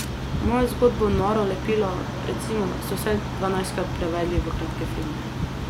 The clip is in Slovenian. Mojo zgodbo Noro lepilo, recimo, so vsaj dvanajstkrat prevedli v kratke filme.